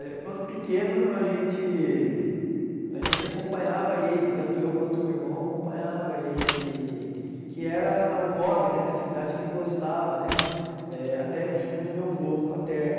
É, quando pequeno a gente a gente acompanhava ele, tanto eu quanto meu irmão acompanhava ele, que era o hobby né, a atividade que ele gostava né, eh até vinda do meu avô paterno.